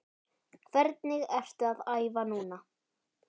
Hvernig ertu að æfa núna?